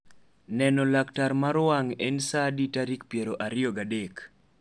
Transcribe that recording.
neno laktar mar wang' en saa adi tarik piero ariro ga adek